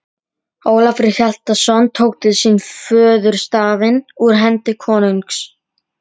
Ólafur Hjaltason tók til sín fjöðurstafinn úr hendi konungs.